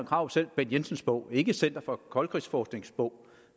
krarup selv bent jensens bog og ikke center for koldkrigsforsknings bog